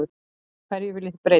Hverju viljið þið breyta?